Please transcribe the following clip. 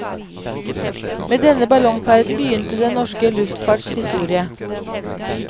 Med denne ballongferden begynte den norske luftfarts historie.